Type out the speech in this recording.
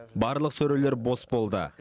барлық сөрелер бос болды